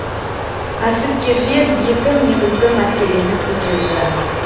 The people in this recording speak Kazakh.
кәсіпкерлер екі негізгі мәселені көтерді